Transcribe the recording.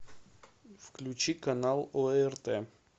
включи канал орт